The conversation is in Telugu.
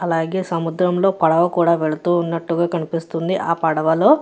అలాగే సందురం లో పడువ కూడా వేల్లుతునాటు కనిపిస్తుంది. యా పడువ లో--